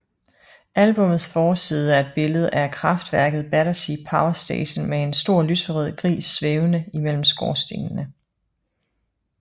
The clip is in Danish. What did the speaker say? Albummets forside er et billede af kraftværket Battersea Power Station med en stor lyserød gris svævende imellem skorstene